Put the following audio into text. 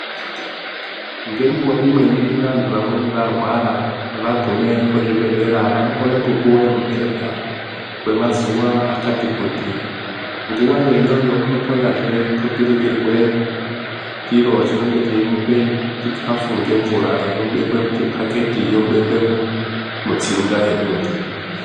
Mitombo dzedu dzechibhoyi dzinoshanda maningi chinondodiwa kuti mundu aziye kuti unoshandiswa sei mutombo audi kunyanya kuwanza nekuti ukauwanza iwewe usina kuhluzwa zvakanaka unozopedzisira watokushatira wotofunga kuti waroiwa kana kuti wapuwa muchetura iwewe wapuwa mutombo weme